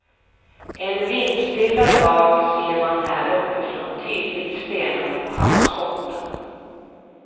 En vindstilla dag ser man här uppifrån tydligt stenarna på havsbotten.